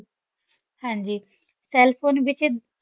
ਹਾਂਜੀ cell phone ਵਿੱਚ